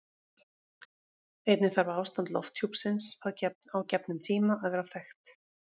Einnig þarf ástand lofthjúpsins á gefnum tíma að vera þekkt.